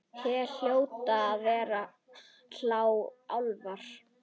Hér hljóta að vera álfar.